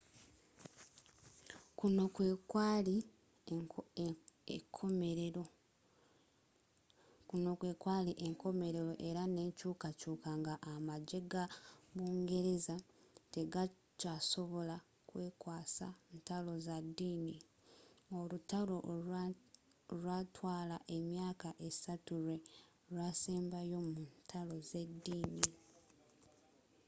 kuno kwe kwali enkomerero era n'enkyukakyuka nga amagye ga bungereza tegakyasobola kwekwasa ntalo za ddini olutalo olwatwala emyaka assatu lwe lwasembayo mu ntalo z'eddini